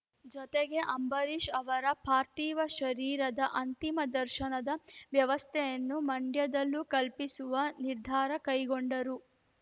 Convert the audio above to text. ಜೊತೆಗೆ ಅಂಬರೀಷ್‌ ಅವರ ಪಾರ್ಥಿವ ಶರೀರದ ಅಂತಿಮ ದರ್ಶನದ ವ್ಯವಸ್ಥೆಯನ್ನು ಮಂಡ್ಯದಲ್ಲೂ ಕಲ್ಪಿಸುವ ನಿರ್ಧಾರ ಕೈಗೊಂಡರು